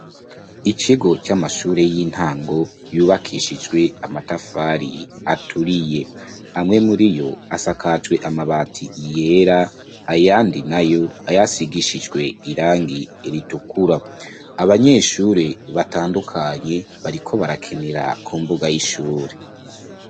Ikigo c'amashure y'intango yubakishijwe amatafari aturiye, amwe muriyo asakajwe amabati yera ayandi nayo ayasigishijwe irangi ritukura, abanyeshuri batandukanye bariko barakenera ku mbuga y'ishuri